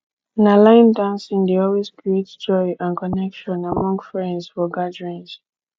na line dancing dey always create joy and connection among my friends for gatherings